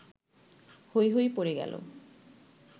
হৈ হৈ পড়ে গেল